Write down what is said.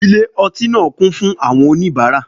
Ilé ọtí náà kún fún àwọn oníbàárà